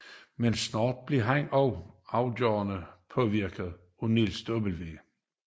Men snart blev han også afgørende påvirket af Niels W